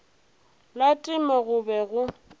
la temo go be go